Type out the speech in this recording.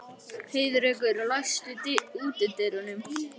Heiðrekur, læstu útidyrunum.